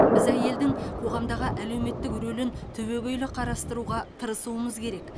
біз әйелдің қоғамдағы әлеуметтік рөлін түбегейлі қарастыруға тырысуымыз керек